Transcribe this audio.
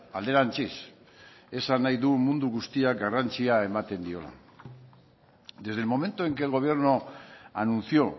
alderantziz esan nahi du mundu guztiak garrantzia ematen diola desde el momento en que el gobierno anunció